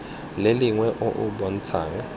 le lengwe o o bontshang